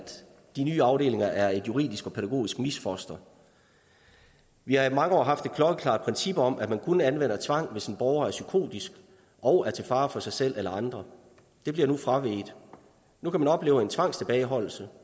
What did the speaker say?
de nye afdelinger er et juridisk og pædagogisk misfoster vi har i mange år haft et klokkeklart princip om at man kun anvender tvang hvis en borger er psykotisk og er til fare for sig selv eller andre det bliver nu fraveget nu kan man opleve en tvangstilbageholdelse